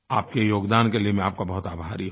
आपके योगदान के लिये मैं आपका बहुत आभारी हूँ